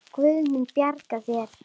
Guð mun bjarga þér.